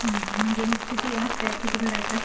म्हणजे मग हफ्ता किती भरायचा?